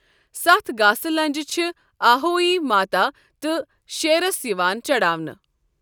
سَتھ گاسہٕ لنٛجہِ چھِ آہوئی ماتا تہٕ شیرَس یِوان چڑاونہٕ۔